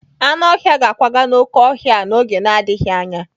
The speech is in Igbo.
Anụ ọhịa ga-akwaga n'oké ọhịa a n'oge na-adịghị anya.